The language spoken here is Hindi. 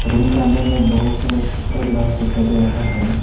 रूम का अंदर में बहुत सारा शीशा ग्लास दिखाई दे रहा है।